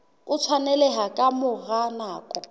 o tshwaneleha ka mora nako